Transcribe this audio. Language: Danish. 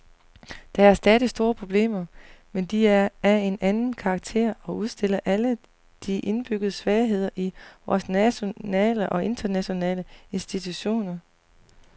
Der er stadig store problemer, men de er af en anden karakter og udstiller alle de indbyggede svagheder i vore nationale og internationale institutioner.